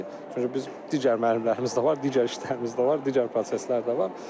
Çünki biz digər müəllimlərimiz də var, digər işlərimiz də var, digər proseslər də var.